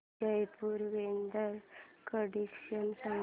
Jaipur weather condition सांगा